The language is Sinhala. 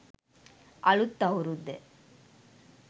අලුත් අවුරුද්ද